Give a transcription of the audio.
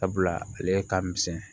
Sabula ale ka misɛn